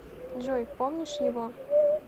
джой помнишь его